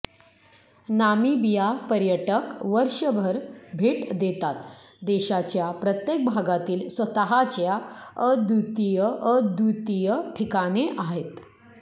Namibia पर्यटक वर्षभर भेट देतात देशाच्या प्रत्येक भागातील स्वतःच्या अद्वितीय अद्वितीय ठिकाणे आहेत